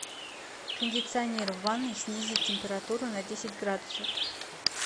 кондиционер в ванной снизить температуру на десять градусов